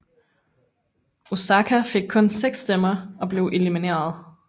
Osaka fik kun seks stemmer og blev elimineret